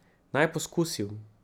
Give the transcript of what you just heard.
Naj poskusim.